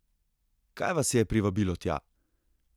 Kaj vas je privabilo tja?